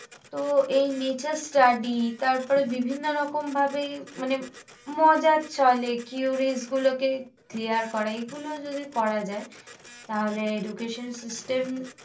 তো এই nature study তার পরে বিভিন্ন রকম ভাবে। মানে মজার ছলে গুলোকে clear করা। এই গুলো যদি করা যায়। তাহলে education system